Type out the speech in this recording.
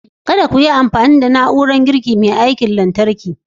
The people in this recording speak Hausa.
Kada ku yi amfani da na'urar girki mai aiki da wutar lantarki!